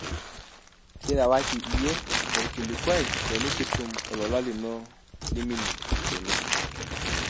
kiirewaki iyie olkilikuai tenikitum olola lino liminie teine